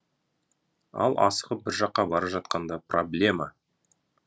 ал асығып бір жаққа бара жатқанда проблема